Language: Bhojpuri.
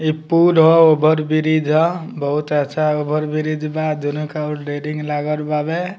इ पुल ह ओवर ब्रिज ह बहुत अच्छा ओवर ब्रिज बा दुनो अउर रेलिंग लागल बावे।